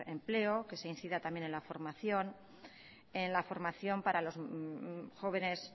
empleo que se incida también en la formación para los jóvenes